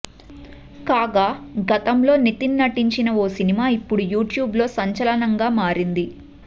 కాగా గతంలో నితిన్ నటించిన ఓ సినిమా ఇప్పుడు యూట్యూబ్లో సంచలనంగా మారింది